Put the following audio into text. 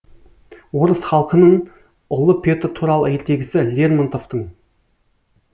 орыс халқынын ұлы петр туралы ертегісі лермонтовтын